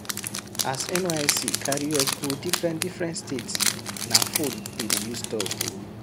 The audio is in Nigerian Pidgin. As NYSC carry us go differen differen state, na fone we dey use talk o.